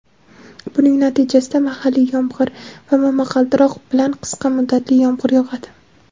buning natijasida mahalliy yomg‘ir va momaqaldiroq bilan qisqa muddatli yomg‘ir yog‘adi.